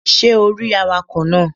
Ṣé o rí awakọ̀ náà?